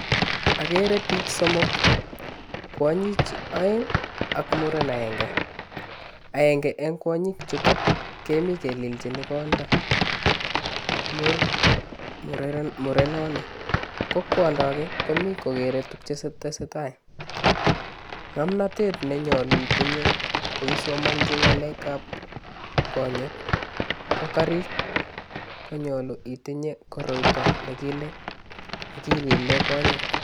Ageere biich somok, kwanyik aeng ak muren agenge, aenge eng kwanyik chuto kemi kelilchini konda murenoni ko kwanda ake komi kokere tuug che tesetai. Ngomnotet nenyolu itinye ko isomanchi ngalekab konyek, ko kariik, konyolu itinye koroito ne kilile konyek.